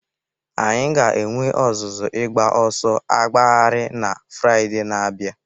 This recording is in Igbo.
Anyị ga-enwe ọzụzụ ịgba ọsọ agbagharị na Fraịde na-abịa.